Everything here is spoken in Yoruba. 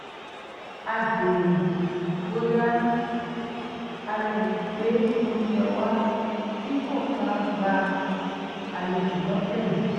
a béèrè bóyá a lè gbé oúnjẹ wá dípò ká gba àlejò lọ́tẹ̀ yìí